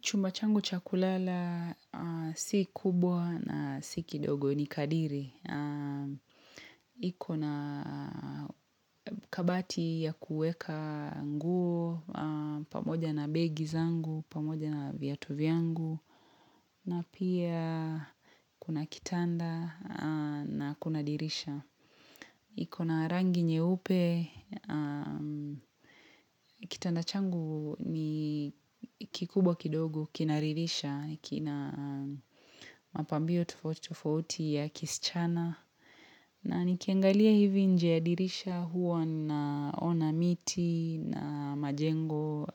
Chumba changu cha kulala si kubwa na si kidogo ni kadiri. Iko na kabati ya kuweka nguo, pamoja na begi zangu, pamoja na viatu vyangu, na pia kuna kitanda na kuna dirisha. Iko na rangi nyeupe, kitanda changu ni kikubwa kidogo, kinaridhisha, kina mapambio tofauti tofauti ya kisichana. Na nikiangalia hivi nje ya dirisha huwa naona miti na majengo